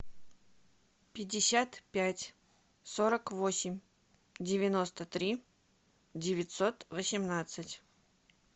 пятьдесят пять сорок восемь девяносто три девятьсот восемнадцать